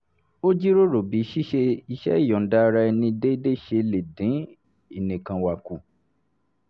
ó jíròrò bí ṣíṣe iṣẹ́ ìyọ̀ǹda ara ẹni déédéé ṣe lè dín ìnìkanwà kù